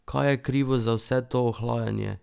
Kaj je krivo za vse to ohlajanje?